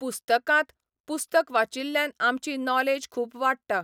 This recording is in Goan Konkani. पुस्तकांत, पुस्तक वाचिल्ल्यान आमची नॉलेज खूब वाडटा.